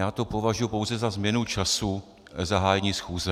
Já to považuji pouze za změnu času zahájení schůze.